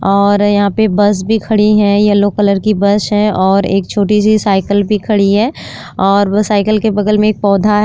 और यहां पे बस भी खड़ी है। येलो कलर की बस है और एक छोटी-सी साइकिल भी खड़ी है और वो साइकिल के बगल में एक पौधा है।